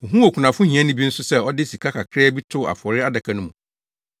Ohuu okunafo hiani bi nso sɛ ɔde sika kakraa bi too afɔre adaka no mu.